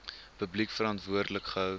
publiek verantwoordelik gehou